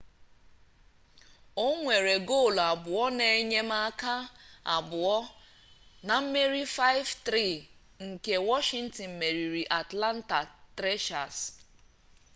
o nwere goolu abụọ na enyemaka abụọ na mmeri 5-3 nke washington meriri atlanta thrashers